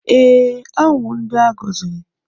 Ee, ha wụ ndị a gọziri.